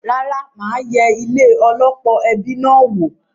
Rárá, mà á yẹ ilé -ọlọ́pọ̀ ẹbi náà wò.